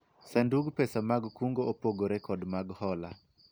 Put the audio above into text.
sandug pesa mag kungo opogore kod mag hola